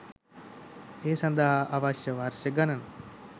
ඒ සඳහා අවශ්‍ය වර්ෂ ගණන